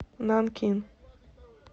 нанкин